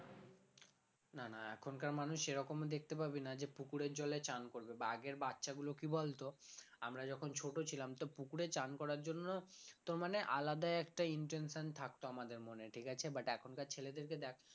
না না এখনকার মানুষ সেরকমও দেখতে পাবি না যে পুকুরের জলে চান করবে বা আগের বাচ্চাগুলো কি বলতো আমরা যখন ছোট ছিলাম তো পুকুরে চান করার জন্য তো মানে আলাদাই একটা intention থাকতো আমাদের মনে ঠিক আছে but এখনকার ছেলেদেরকে দেখ